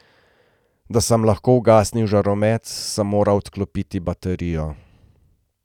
Da sem lahko ugasnil žaromet, sem moral odklopiti baterijo.